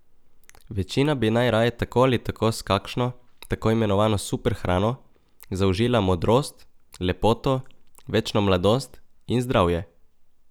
Večina bi najraje tako ali tako s kakšno, tako imenovano super hrano, zaužila modrost, lepoto, večno mladost in zdravje.